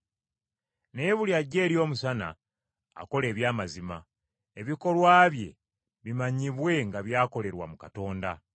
Naye buli ajja eri omusana akola eby’amazima, ebikolwa bye bimanyibwe nga byakolerwa mu Katonda.”